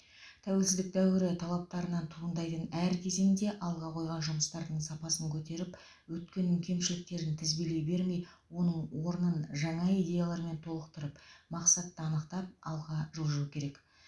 тәуелсіздік дәуірі талаптарынан туындайтын әр кезеңде алға қойған жұмыстардың сапасын көтеріп өткеннің кемшіліктерін тізбелей бермей оның орнын жаңа идеялармен толықтырып мақсатты анықтап алға жылжу керек